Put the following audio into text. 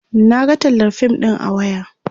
Naga tallar fim ɗin a waya